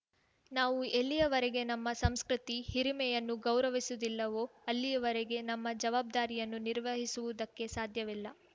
ನಾವು ಎಲ್ಲಿಯವರೆಗೆ ನಮ್ಮ ಸಂಸ್ಕೃತಿ ಹಿರಿಮೆಯನ್ನು ಗೌರವಿಸುವುದಿಲ್ಲವೋ ಅಲ್ಲಿಯವರೆಗೆ ನಮ್ಮ ಜವಾಬ್ದಾರಿಯನ್ನು ನಿರ್ವಹಿಸುವುದಕ್ಕೆ ಸಾಧ್ಯವಿಲ್ಲ